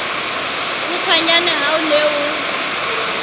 kgutshwanyane ha o ne o